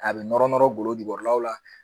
A bɛ nɔrɔ nɔrɔ golo jukɔrɔlaw la